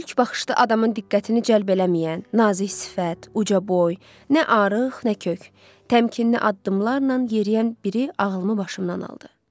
İlk baxışda adamın diqqətini cəlb eləməyən, nazik sifət, ucaboy, nə arıq, nə kök, təmkinli addımlarla yeriyən biri ağlımı başımdan aldı.